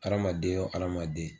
Adamaden o adamaden